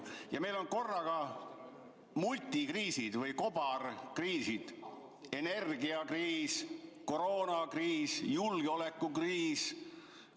Ja meil on korraga multikriisid või kobarkriisid: energiakriis, koroonakriis, julgeolekukriis.